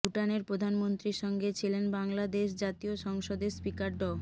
ভুটানের প্রধানমন্ত্রীর সঙ্গে ছিলেন বাংলাদেশ জাতীয় সংসদের স্পিকার ড